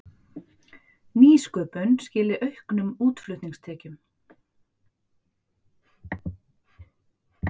Nýsköpun skili auknum útflutningstekjum